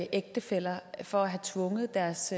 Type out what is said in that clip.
ægtefæller for at have tvunget deres